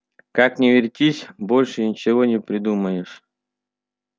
как ни вертись больше ничего не придумаешь